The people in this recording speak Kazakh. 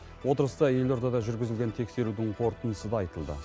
отырыста елордада жүргізілген тексерудің қорытындысы да айтылды